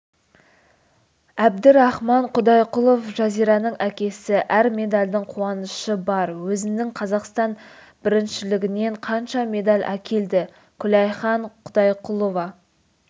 әбдірахман құдайқұлов жазираның әкесі әр медальдың қуанышы бар өзінің қазақстан біріншілігінен қанша медаль әкелді күләйхан құдайқұлова